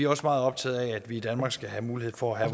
også meget optaget af at vi i danmark skal have mulighed for at